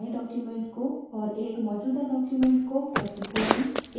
एक नए document को और एक मौजूदा document को कैसे खोलें